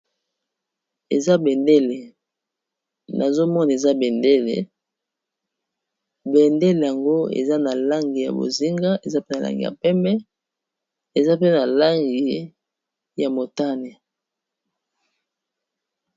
Eza bendele na zomona eza bendele bendele yango eza na langi ya bozinga, eza pe na langi ya pembe, eza pe na langi ya motane.